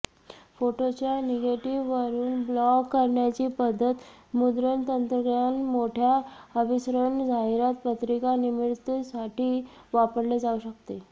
फोटोच्या निगेटिव्हवरून ब्लॉक करण्याची पध्दत मुद्रण तंत्रज्ञान मोठ्या अभिसरण जाहिरात पत्रिका निर्मितीसाठी वापरले जाऊ शकते